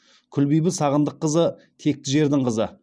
күлбибі сағындыққызы текті жердің қызы